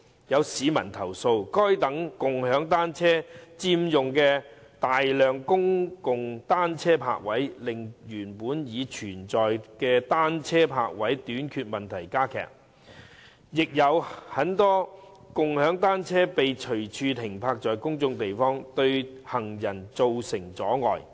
有市民投訴，該等共享單車佔用了大量公共單車泊位，令原本已存在的單車泊位短缺問題加劇，亦有很多共享單車被隨處停泊在公眾地方，對行人造成阻礙。